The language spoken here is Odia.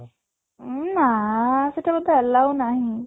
ଉଁ ନାଆ ସେଠି ମୋତେ allow ନାହିଁ